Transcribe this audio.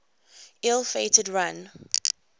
ill fated run